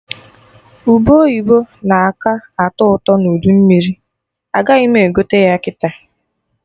Ube oyibo na-aka atọ ụtọ n'udu mmiri, agaghị m egote ya kịta